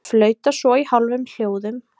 Flauta svo í hálfum hljóðum.